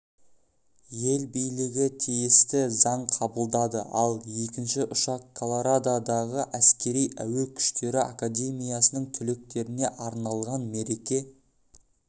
ел билігі тиісті заң қабылдады ал екінші ұшақ колорадодағы әскери әуе күштері академиясының түлектеріне арналған мереке